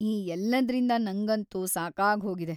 ಈ ಎಲ್ಲದ್ರಿಂದ ನಂಗಂತೂ ಸಾಕಾಗ್ಹೋಗಿದೆ.